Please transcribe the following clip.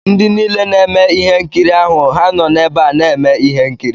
Ndị niile na-eme ihe nkiri ahụ ha nọ n'ebe a na-eme ihe nkiri?